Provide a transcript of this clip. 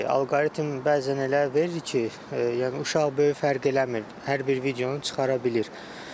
Alqoritm bəzən elə verir ki, yəni uşaq böyük fərq eləmir, hər bir videonu çıxara bilir.